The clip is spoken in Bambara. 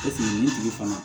Eseke nin tigi fana